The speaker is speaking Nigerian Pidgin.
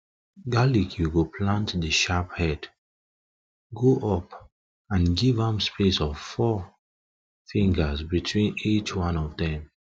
garlic you go plant the sharp head go up and give am space of four of four fingers between each one of dem